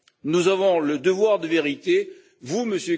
Nous avons le devoir de vérité, vous, M.